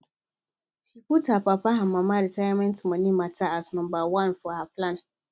she put her papa and mama retirement money matter as number one for her plan